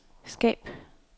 skab